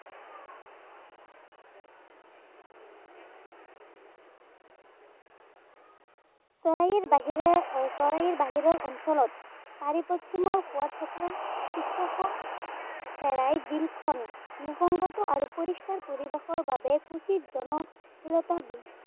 চৰাইৰ বাহিৰে চৰাইৰ বাহিৰে অঞ্চলত হোৱা থকাৰ চিত্ৰখন চেৰাই বিলখন নিশংগত আৰু পৰিষ্কাৰ পৰিৱেশৰ বাবে কুছিত জনশিলতা